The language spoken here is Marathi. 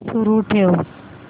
सुरू ठेव